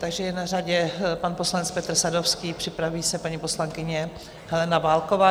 Takže je na řadě pan poslanec Petr Sadovský, připraví se paní poslankyně Helena Válková.